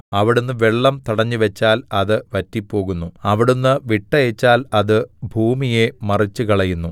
അവിടുന്ന് വെള്ളം തടഞ്ഞുവച്ചാൽ അത് വറ്റിപ്പോകുന്നു അവിടുന്ന് വിട്ടയച്ചാൽ അത് ഭൂമിയെ മറിച്ചുകളയുന്നു